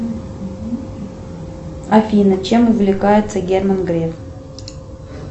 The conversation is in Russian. афина чем увлекается герман греф